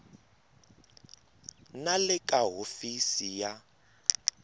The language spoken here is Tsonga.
na le ka hofisi ya